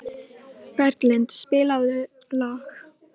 Berglind, spilaðu lag.